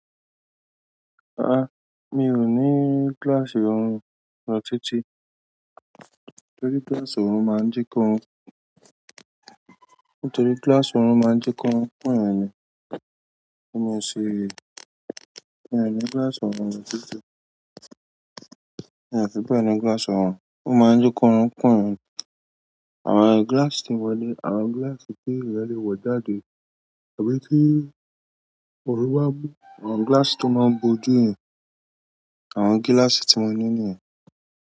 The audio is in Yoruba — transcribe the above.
Àá, mi ò ní glass òrùn lọ títí. Nítorí glass òrùn máa ń jẹ́ kó-- nítorí glass òrùn máa ń jẹ́ kórun kunyan ni. Mi ò ṣe-- mi ò ní glass òrùn lọ títí. Mi ò fi bẹ́ẹ̀ ni glass òrùn, ó máa ń jẹ́ kórún kúnyan ni. Àwọn glass ti moni, àwọn glass ti eeyan le wọ jáde àbí to oorun ba mu, àwọn glass to maa n boju yẹn. Àwọn glass ti moni niyẹn.